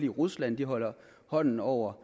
rusland holder hånden over